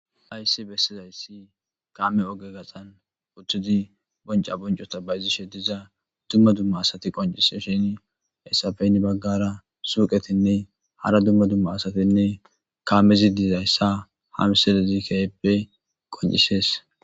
ayssi bessizayssi kaame oge gaxan uttidi bonca boncota bayizishe diza dumma dumma asati qonciseshini hessafe heni baggara suuqetinne hara dumma dumma asatinne kaamezi diizayssa ha miselezi keyeppe qoncisees.